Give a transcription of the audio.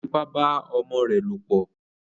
Ó fipá bá ọmọ rẹ̀ lòpọ̀